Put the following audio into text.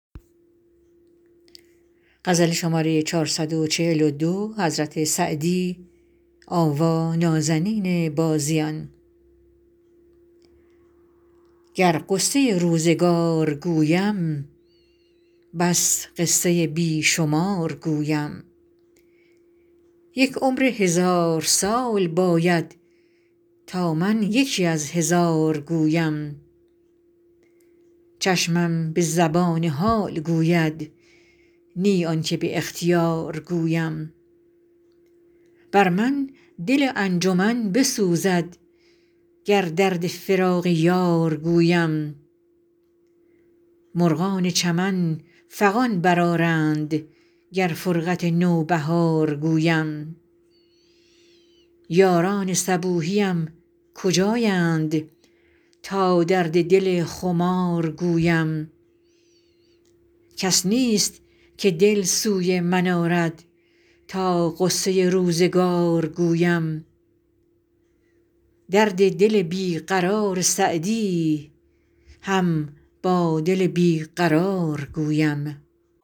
گر غصه روزگار گویم بس قصه بی شمار گویم یک عمر هزار سال باید تا من یکی از هزار گویم چشمم به زبان حال گوید نی آن که به اختیار گویم بر من دل انجمن بسوزد گر درد فراق یار گویم مرغان چمن فغان برآرند گر فرقت نوبهار گویم یاران صبوحیم کجایند تا درد دل خمار گویم کس نیست که دل سوی من آرد تا غصه روزگار گویم درد دل بی قرار سعدی هم با دل بی قرار گویم